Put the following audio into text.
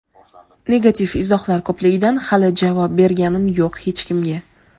negativ izohlar ko‘pligidan hali javob berganim yo‘q hech kimga.